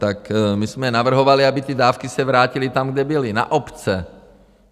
Tak my jsme navrhovali, aby ty dávky se vrátily tam, kde byly: Na obce.